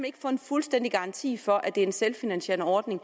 ikke få en fuldstændig garanti for at det er en selvfinansierende ordning